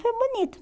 Foi bonito.